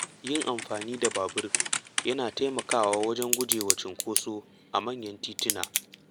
Yin amfani da babur yana taimakawa wajen gujewa cunkoso a manyan tituna.